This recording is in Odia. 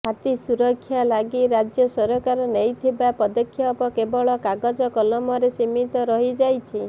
ହାତୀ ସୁରକ୍ଷା ଲାଗି ରାଜ୍ୟ ସରକାର ନେଇଥିବା ପଦକ୍ଷେପ କେବଳ କାଗଜକଲମରେ ସୀମିତ ରହିଯାଇଛି